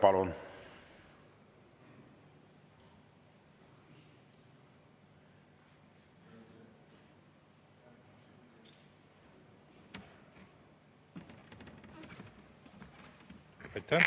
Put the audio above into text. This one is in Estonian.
Palun!